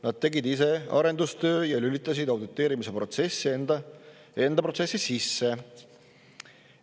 Nad tegid ise arendustöö ja lülitasid auditeerimise protsessi enda protsessi sisse.